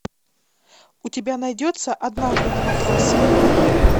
у тебя найдется однажды на матрасе